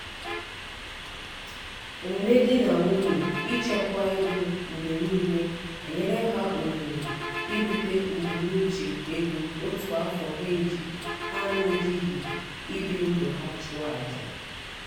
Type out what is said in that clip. omume di na nwunye ichekwa ego mgbe niile enyela ha ohere irute mbunuche ego otu afọ ha na-ejighị ibi ndụ ha chụọ aja.